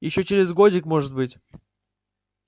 ещё через годик может быть